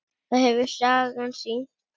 Það hefur sagan sýnt.